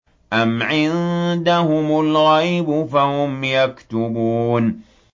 أَمْ عِندَهُمُ الْغَيْبُ فَهُمْ يَكْتُبُونَ